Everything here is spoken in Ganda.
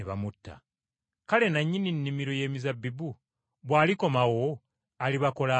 Kale nannyini nnimiro y’emizabbibu bw’alikomawo alibakola atya?”